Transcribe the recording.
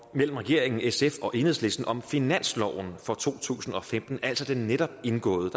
mellem regeringen sf og enhedslisten om finansloven for to tusind og femten altså den netop indgåede